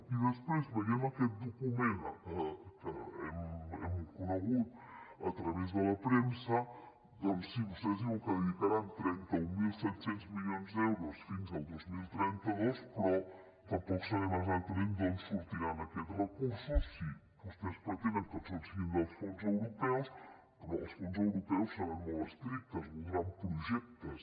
i després veient aquest document que hem conegut a través de la premsa doncs sí vostès diuen que dedicaran trenta mil set cents milions d’euros fins al dos mil trenta dos però tampoc sabem exactament d’on sortiran aquests recursos si vostès pretenen que tots siguin dels fons europeus però els fons europeus seran molt estrictes voldran projectes